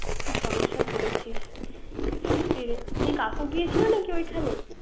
কি সমস্যা পরিছিস। সত্যি কি কাকু গিয়েছিল ঐখানে